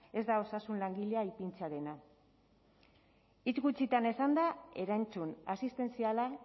ez da osasun langilea ipintzearena hitz gutxitan esanda erantzun asistentziala